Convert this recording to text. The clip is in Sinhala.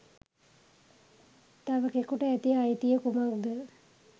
තවෙකෙකුට ඇති අයිතිය කුමක්ද?